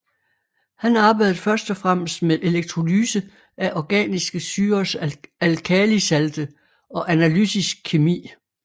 Han arbejdede først og fremmest med elektrolyse af organiske syrers alkalisalte og analytisk kemi